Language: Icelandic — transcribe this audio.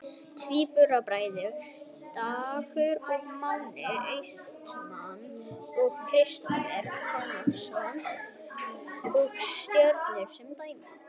Tvíburabræðurnir Dagur og Máni Austmann og Kristófer Konráðsson hjá Stjörnunni sem dæmi.